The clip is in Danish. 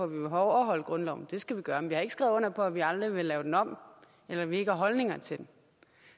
vil overholde grundloven det skal vi gøre men vi har ikke skrevet under på at vi aldrig vil lave den om eller at vi ikke har holdninger til den